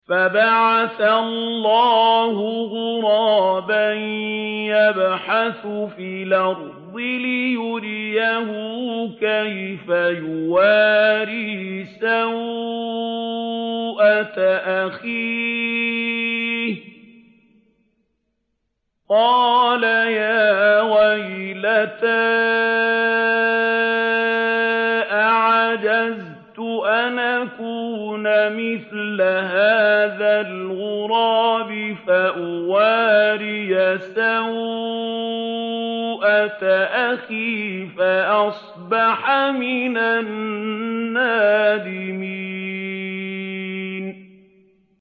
فَبَعَثَ اللَّهُ غُرَابًا يَبْحَثُ فِي الْأَرْضِ لِيُرِيَهُ كَيْفَ يُوَارِي سَوْءَةَ أَخِيهِ ۚ قَالَ يَا وَيْلَتَا أَعَجَزْتُ أَنْ أَكُونَ مِثْلَ هَٰذَا الْغُرَابِ فَأُوَارِيَ سَوْءَةَ أَخِي ۖ فَأَصْبَحَ مِنَ النَّادِمِينَ